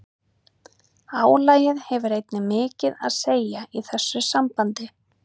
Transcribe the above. Álagið hefur einnig mikið að segja í þessu sambandi.